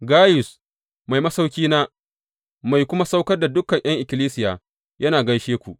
Gayus, mai masauƙina, mai kuma saukar da dukan ’yan Ikkilisiya, yana gaishe ku.